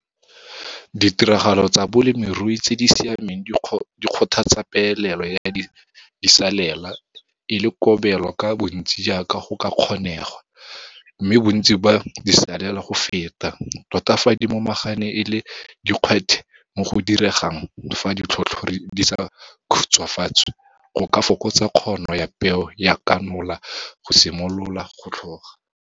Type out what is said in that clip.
Ditiragalo tsa bolemirui tse di siameng di kgothatsa peelelo ya disalela e le kobelo ka bontsi jaaka go ka kgonegwa, mme bontsi ba disalela go feta, tota fa di momagane e le dikgwethe mo go diregang fa ditlhotlhori di sa khutshwafatswe, go ka fokotsa kgono ya peo ya kanola go simolola go tlhoga.